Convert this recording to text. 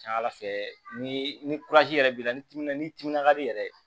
Ca ala fɛ ni yɛrɛ b'i la ni timina ni timina ka di yɛrɛ